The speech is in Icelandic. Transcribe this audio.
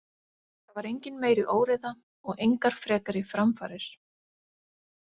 Það var engin meiri óreiða og engar frekari framfarir.